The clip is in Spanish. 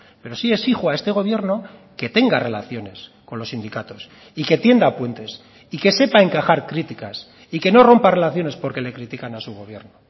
pero sí exijo a este gobierno que tenga relaciones con los sindicatos y que tienda puentes y que sepa encajar críticas y que no rompa relaciones por que le critican a su gobierno